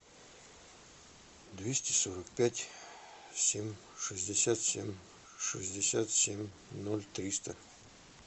двести сорок пять семь шестьдесят семь шестьдесят семь ноль триста